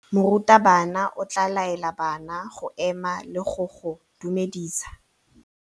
Morutabana o tla laela bana go ema le go go dumedisa.